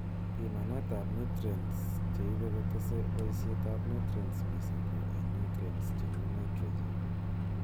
Bimanetab nutrients cheibe kotese boisyetab nutrients miising ko en nutreints cheu nitrogen